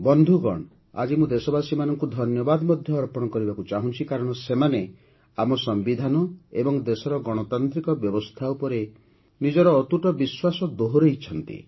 ବନ୍ଧୁଗଣ ଆଜି ମୁଁ ଦେଶବାସୀମାନଙ୍କୁ ଧନ୍ୟବାଦ ମଧ୍ୟ ଅର୍ପଣ କରିବାକୁ ଚାହୁଁଛି କାରଣ ସେମାନେ ଆମ ସମ୍ବିଧାନ ଏବଂ ଦେଶର ଗଣତାନ୍ତ୍ରିକ ବ୍ୟବସ୍ଥା ଉପରେ ନିଜର ଅତୁଟ ବିଶ୍ୱାସ ଦୋହରାଇଛନ୍ତି